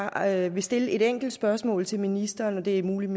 jeg vil stille et enkelt spørgsmål til ministeren og det er muligt